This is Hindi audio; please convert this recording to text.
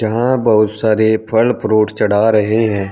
यहां बहुत सारे फल फ्रूट चढ़ा रहे हैं।